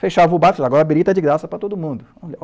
Fechava o bar e falava, agora a birita é de graça para todo mundo.